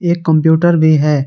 एक कंप्यूटर भी है।